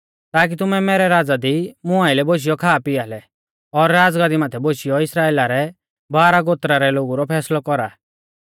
ताकी तुमै मैरै राज़ा दी मुं आइलै बोशियौ खा पिआ लै और राज़गादी माथै बोशियौ इस्राइला रै बारह गोत्रा रै लोगु रौ फैसलौ कौरा